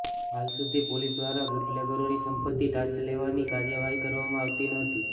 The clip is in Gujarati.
હાલ સુધી પોલીસ દ્વારા બૂટલેગરોની સંપત્તિ ટાંચમાં લેવાની કાર્યવાહી કરવામાં આવતી ન હતી